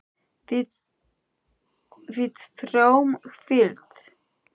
Við þráum hvíld.